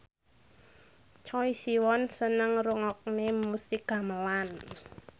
Choi Siwon seneng ngrungokne musik gamelan